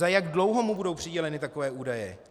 Za jak dlouho mu budou přiděleny takové údaje?